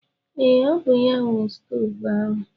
Ee, ọ bụ ya nwe shọvelu ahụ.